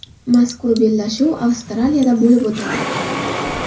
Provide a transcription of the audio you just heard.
Mazkur bellashuv Avstraliyada bo‘lib o‘tadi.